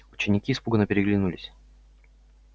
ученики испуганно переглянулись